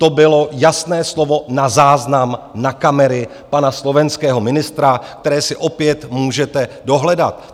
To bylo jasné slovo na záznam na kamery pana slovenského ministra, které si opět můžete dohledat.